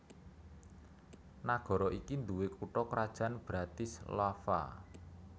Nagara iki nduwé kutha krajan Bratislava